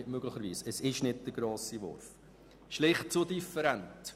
Die verschiedenen Partialinteressen sind zu different.